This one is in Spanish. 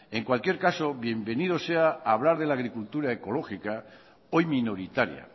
en cualquier caso bienvenido sea hablar de la agricultura ecológica hoy minoritaria